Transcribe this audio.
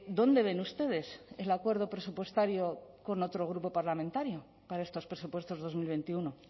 dónde ven ustedes el acuerdo presupuestario con otro grupo parlamentario para estos presupuestos dos mil veintiuno